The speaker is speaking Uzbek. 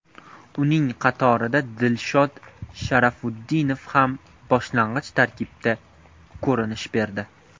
Uning qatorida Dilshod Sharofutdinov ham boshlang‘ich tarkibda ko‘rinish berdi.